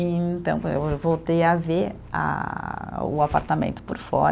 E então, eu voltei a ver a o apartamento por fora.